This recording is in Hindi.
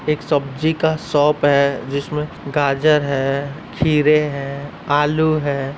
एक सब्जी का शॉप है जिसमें गाजर है खीरे हैं आलू है।